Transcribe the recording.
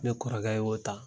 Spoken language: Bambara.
Ne kɔrɔkɛ y'o ta